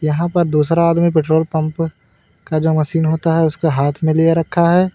यहाँ पर दूसरा आदमी पेट्रोल पंप का जो मशीन होता है उसको हाथ में लिये रखा है।